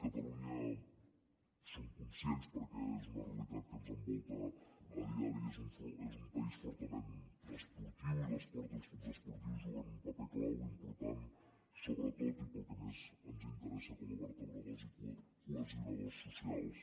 catalunya som conscients perquè és una realitat que ens envolta a diari que és un país fortament esportiu i l’esport i els clubs esportius juguen un paper clau important sobretot i pel que més ens interessa com a vertebradors i cohesionadors socials